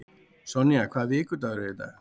Sonja, hvaða vikudagur er í dag?